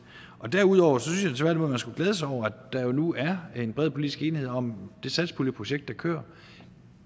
derudover synes jeg at man tværtimod skulle glæde sig over at der nu er en bred politisk enighed om det satspuljeprojekt der kører